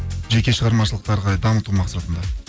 жеке шығармашылықты ары қарай дамыту мақсатында